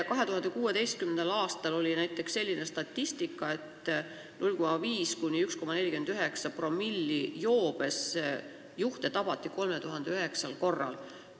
2016. aastal oli näiteks selline statistika, et 0,5–1,49-promillises joobes juhte tabati 3009 korral.